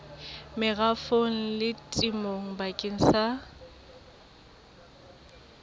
merafong le temong bakeng sa